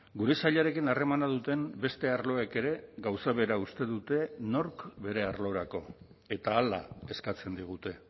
gure sailarekin harremana duten beste arloek ere gauza bera uste dute nork bere arlorako eta hala eskatzen digute